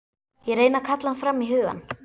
Ég reyni að kalla hann fram í hugann.